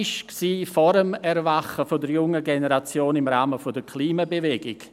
Das war vor dem Erwachen der jungen Generation im Rahmen der Klimabewegung.